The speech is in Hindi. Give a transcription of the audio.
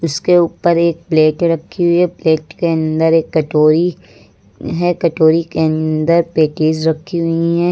इसके ऊपर एक प्लेट रखी हुई है प्लेट के अंदर एक कटोरी है कटोरी के अंदर पेटीज रखी हुई हैं।